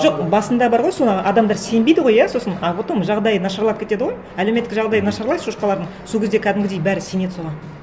жоқ басында бар ғой соны адамдар сенбейді ғой иә сосын а потом жағдайы нашарлап кетеді ғой әлеуметтік жағдайы нашарлайды шошқалардың сол кезде кәдімгідей бәрі сенеді соған